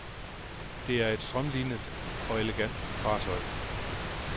Det er et strømlinet og elegant fartøj.